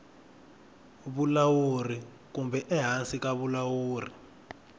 vulawuri kumbe ehansi ka vulawuri